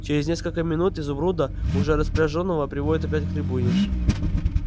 через несколько минут изумруда уже распряжённого приводят опять к трибуне